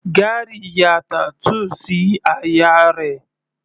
Gary ya tattoo sí àyà rẹ̀.